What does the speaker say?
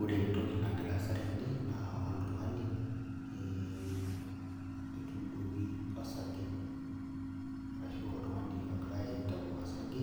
Ore entoki nagira aasa tene na oltungani etuduoki osarge ashu oltungani ogirai aitau osarge